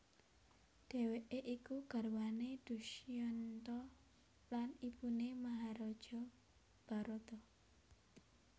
Dhèwèké iku garwané Dusyanta lan ibuné Maharaja Bharata